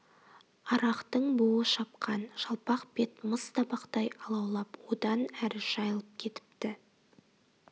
арақтың буы шапқан жалпақ бет мыс табақтай алаулап одан әр жайылып кетіпті